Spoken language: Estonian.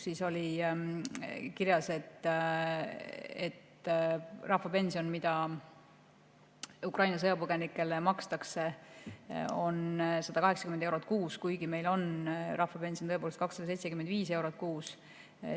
Seal oli kirjas, et rahvapension, mida Ukraina sõjapõgenikele makstakse, on 180 eurot kuus, kuigi meil on rahvapension tõepoolest 275 eurot kuus.